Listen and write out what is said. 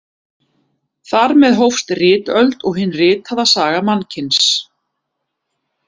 Þar með hófst ritöld og hin ritaða saga mannkyns.